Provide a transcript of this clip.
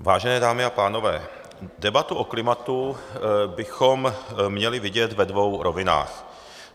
Vážené dámy a pánové, debatu o klimatu bychom měli vidět ve dvou rovinách.